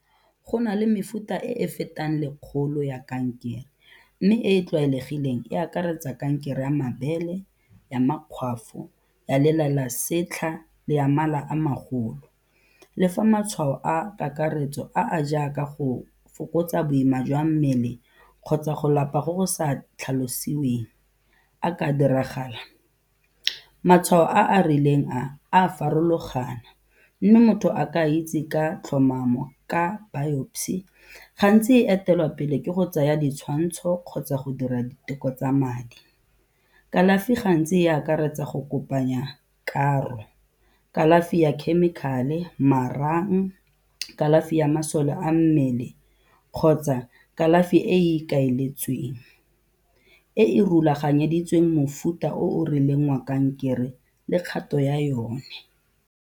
Go na le mefuta e e fetang lekgolo ya kankere mme e e tlwaelegileng e akaretsa kankere ya mabele, ya makgwafo, ya lela la setlha le ya mala a magolo. Le fa matshwao a kakaretso a a jaaka go fokotsa boima jwa mmele kgotsa go lapa go go sa tlhalosiweng a ka diragala, matshwao a a rileng a, a a farologana mme motho a ka a itse ka tlhomamo ka biopsy gantsi e etelwa pele ke go tsaya ditshwantsho kgotsa go dira diteko tsa madi. Kalafi gantsi e akaretsa go kopanya karo, kalafi ya chemical-e, marang, kalafi ya masole a mmele kgotsa kalafi e e ikaeletsweng, e e rulaganyeditsweng mofuta o o rileng wa kankere le kgato ya yone.